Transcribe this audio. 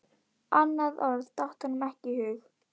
Annað orð datt honum ekki í hug.